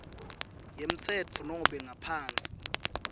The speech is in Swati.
yemtsetfo nobe ngaphansi